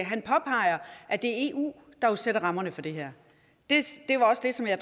han påpeger at det er eu der sætter rammerne for det her det var også det som jeg